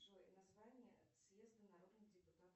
джой название съезда народных депутатов